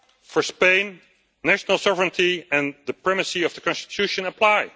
For Spain, national sovereignty and the primacy of the Constitution apply.